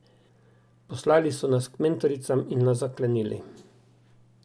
Poslali so nas k mentoricam in nas zaklenili.